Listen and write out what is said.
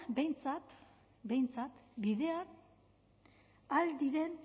behintzat behintzat bidean ahal diren